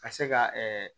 Ka se ka